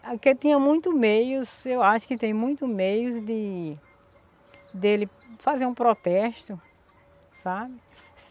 Ah que ele tinha muito meios, eu acho que tem muito meios de de ele fazer um protesto, sabe?